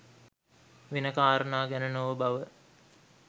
වෙන කාරණා ගැන නොව බව